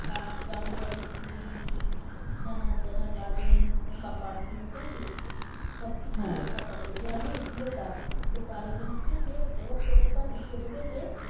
ছাদ বাউন্ডারি সিঁড়ি lift হ্যানা ত্যানা garden বা parking যাই হোক সব কিছু থাকে যে আমি এগুলো পাবো। তার against এ যে ও promoter লিখে দেবে যে